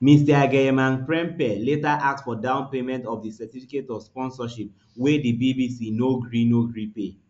mr agyemangprempeh later ask for downpayment for di certificates of sponsorship wey di bbc no gree no gree pay